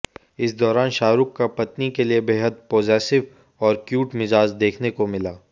इस दौरान शाहरुख का पत्नी के लिए बेहद पजेसिव और क्यूट मिजाज देखने को मिला